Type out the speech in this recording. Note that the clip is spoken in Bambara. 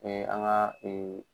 Ee an ka ee